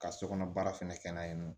Ka sokɔnɔ baara fɛnɛ kɛ n'a ye nɔ